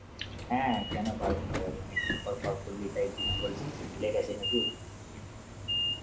হ্যাঁ কেনো পারব না বল, অনেকদিন পর call করলি তাই উম বলছিস যে ভুলে গেছে নাকি?